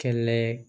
Kɛlɛ ye